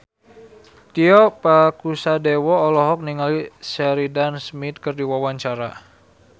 Tio Pakusadewo olohok ningali Sheridan Smith keur diwawancara